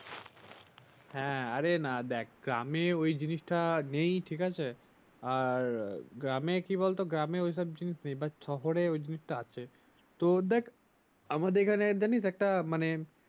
হ্যা আরে না দেখ গ্রামে ঐ জিনিসটা নেই ঠিক আছে আর গ্রামে কি বলতো গ্রামে শহরে ঐ জিনিসটা আছে তোর দেখ আমাদের এখানে জানিস একটা মানে